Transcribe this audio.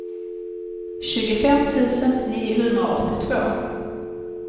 tjugofem tusen niohundraåttiotvå